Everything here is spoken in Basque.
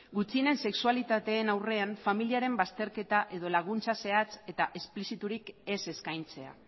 gutxienen sexualitateen aurrean familiaren bazterketa edo laguntza zehatz eta espliziturik ez eskaintzea